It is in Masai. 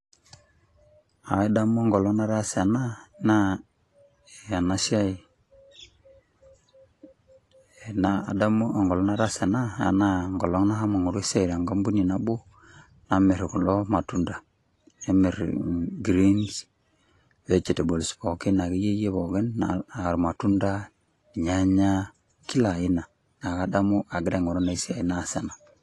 Kadamu enkolong nataasa ena , na ena siai ,adamu enkolong nataasa ena naa enkolong nashomo aingoru esiai tenkampuni nabo namir kulo matunda ,nemir greens , vegetables pookin ,akeyieyie pookin aairmatunda ,irnyanya , kila aina , niaku kadamu agira aingoru ina siai naas ena.